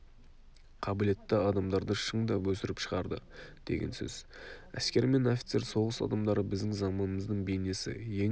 қабілетті адамдарды шыңдап өсіріп шығарды деген сөз әскер мен офицер соғыс адамдары біздің заманымыздың бейнесі ең